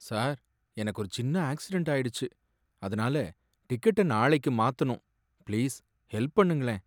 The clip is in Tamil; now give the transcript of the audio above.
சார், எனக்கு ஒரு சின்ன ஆக்சிடென்ட் ஆயிடுச்சு, அதுனால டிக்கெட்ட நாளைக்கு மாத்தணும், பிளீஸ் ஹெல்ப் பண்ணுங்களே!